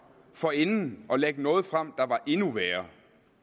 forinden at lægge noget frem der var endnu værre